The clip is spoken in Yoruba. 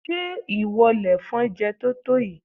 Ṣé ìwọ lèfọn jẹ totoyi?